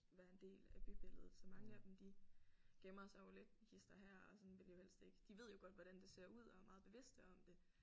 Være en del af bybilledet så mange af dem de gemmer sig jo lidt hist og her og sådan vil jo helst ikke de ved jo godt hvordan det ser ud og er meget bevidste om det